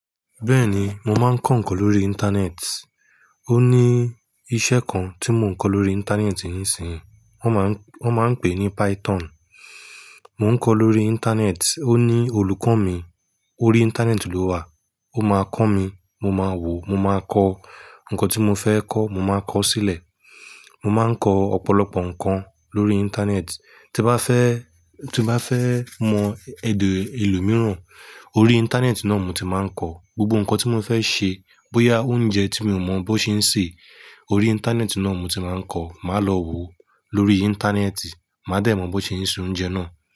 Bẹ́ẹ̀ni, mo máa ń kọ ǹkan lórí Íńtánẹ́ẹ̀tì. Ó ní iṣẹ́ kan tí mo ń kọ lórí Íńtánẹ́ẹ̀tì ńsìnyí wọ́n máa ń pè é ní Python. Mo ń kọ lóri Íńtánẹ́ẹ̀tì. Ó ní olùkọ́ mi. Orí Íńtánẹ́ẹ̀tì ló wà. Ó máa kọ mí. Mo máa wò. Mo máa kọ ǹkan tí mo fẹ́ kọ́. Mo máa kọ ó sílẹ̀. Mo máa ń kọ ọ̀pọ̀lọpọ̀ ǹkan lórí Íńtánẹ́ẹ̀tì. Tí n bá fẹ́, tí n bá fẹ́ mọ èdè elo mìíràn, orí Íńtánẹ́ẹ̀tì náà mo ti máa ń kọ. Gbogbo ǹkan tí mo fẹ́ ṣe, bóyá oúnjẹ tí mi ò mọ bó ṣe ń sè, orí Íńtánẹ́ẹ̀tì náà mo ti máa ń kọ. Máa lọ wo lórí Íńtánẹ́ẹ̀tì. Màá dẹ̀ mọ bó ṣe ń se oúnjẹ náà.